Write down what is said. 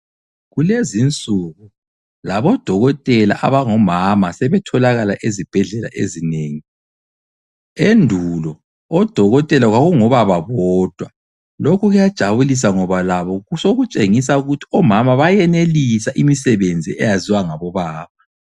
Kulezi nsuku labo dokotela abangomama sebetholakala ezibhedlela ezinengi, endulo odokotela kwakungo baba bodwa, lokhu kuyajabulisa ngoba labo sokutshengisa ukuthi omama bayenelisa imisebenzi eyaziwa ngabo baba.